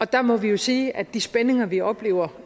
der må vi jo sige at de spændinger vi oplever